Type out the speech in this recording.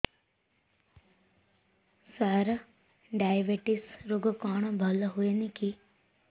ସାର diabetes ରୋଗ କଣ ଭଲ ହୁଏନି କି